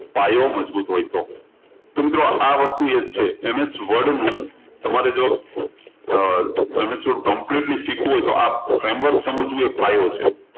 પાયો મજબૂત હોય તો તો મિત્રો આ વસ્તુ એ જ છે MS Word નું તમારે જો અર MSwordcompletely શીખવું હોય તો આ framework સમજવું એ એક પાયો છે